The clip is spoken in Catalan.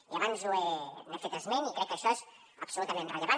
i abans n’he fet esment i crec que això és absolutament rellevant